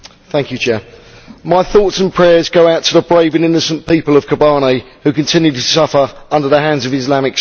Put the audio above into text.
Mr President, my thoughts and prayers go out to the brave and innocent people of Kobane, who continue to suffer at the hands of Islamic State.